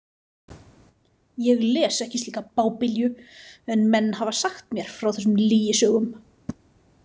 Ég les ekki slíka bábilju en menn hafa sagt mér frá þessum lygisögum.